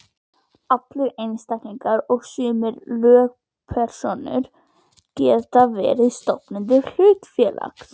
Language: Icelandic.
Allir einstaklingar og sumar lögpersónur geta verið stofnendur hlutafélags.